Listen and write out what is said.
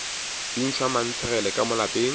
bintšhwa mantshegele ka mo lapeng